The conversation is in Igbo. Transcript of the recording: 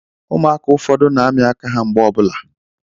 Ụmụaka ụfọdụ na-amị aka ha mgbe ọ bụla